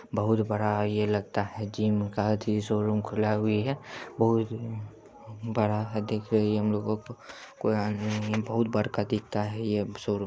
बहुत बड़ा यह लगता है जिम का अथि शोरूम खुला है बहुत बड़ा दिख रही है हम लोग बहुत बड़का दिखता है ये शोरूम --